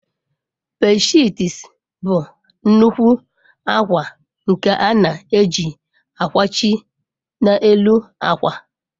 Bedshiits bụ nnukwu akwa nke a na-eji akwachi n'elu akwa.